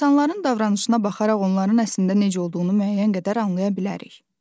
İnsanların davranışına baxaraq onların əslində necə olduğunu müəyyən qədər anlaya bilərik.